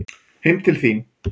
Heim til þín?